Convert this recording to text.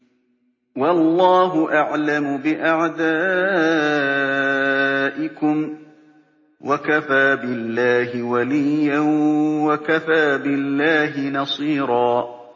وَاللَّهُ أَعْلَمُ بِأَعْدَائِكُمْ ۚ وَكَفَىٰ بِاللَّهِ وَلِيًّا وَكَفَىٰ بِاللَّهِ نَصِيرًا